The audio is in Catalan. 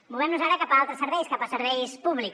movem nos ara cap a altres serveis cap a serveis públics